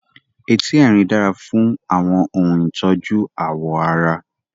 Etí Erin dára fún àwọn ohun ìtọ́jú ààwọ̀ ara.